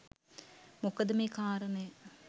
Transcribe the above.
මොකද මේ කාරණය